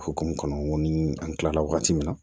O hukumu kɔnɔ ni an kilala wagati min na